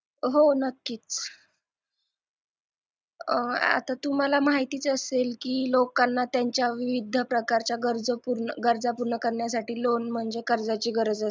हो नक्कीच आता तुम्हाला माहितीच असेल की लोकांना त्यांच्या विविध प्रकारच्या गरजा पूर्ण करण्यासाठी loan म्हणजे कर्जाची गरज असते